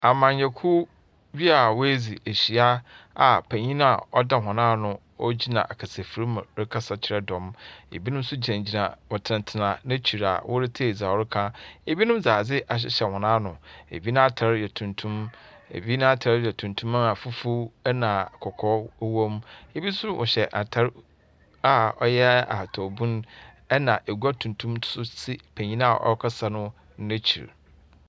Amanyɔkuw bi a woedzi ehyia a panyin a ɔda hɔn ano gyina akasafir mu rekasa kyerɛ dɔm. Binom nso gyinagyina wɔtsenatsena n'ekyir a wɔretsei dza ɔreka. Binom dze ade ahyehyɛ hɔn ano. Ebi n'atar yɛ tuntum. Ɛbi n'atar yɛ tuntum a fufuw ɛna kɔkɔɔ wɔ mu. Bi nso wɔhyɛ atar a ɔyɛ atar bun, na agua tuntum nso si penyin a ɔrekasa no n'ekyir.